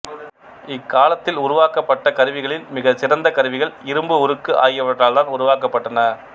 இக்காலத்தில் உருவாக்கப்பட்ட கருவிகளில் மிகச் சிறந்த கருவிகள் இரும்புஉருக்கு ஆகியவற்றால்த்தான் உருவாக்கப்பட்டன